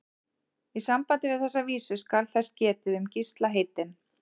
Í sambandi við þessa vísu skal þess getið um Gísla heitinn